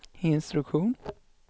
instruktion